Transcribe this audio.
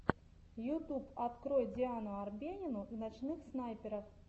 ютуб открой диану арбенину и ночных снайперов